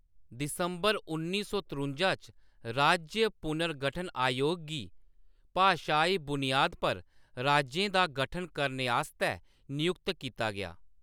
दिसंबर उन्नी सौ तरुंजा च, राज्य पुनर्गठन आयोग गी भाशाई बुनियाद पर राज्यें दा गठन करने आस्तै नियुक्त कीता गेआ।